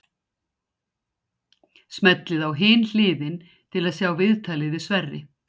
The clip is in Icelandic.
Smellið á Hin hliðin til að sjá viðtalið við Sverrir.